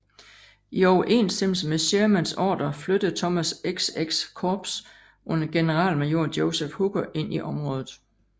I overensstemmelse med Shermans ordrer flyttede Thomas XX Korps under generalmajor Joseph Hooker ind i området